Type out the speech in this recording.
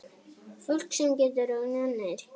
Fólk sem getur og nennir.